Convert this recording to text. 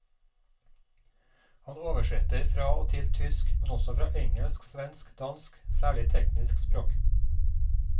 Han oversetter fra og til tysk, men også fra engelsk, svensk og dansk, særlig teknisk språk.